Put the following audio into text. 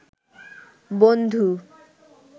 বন্ধু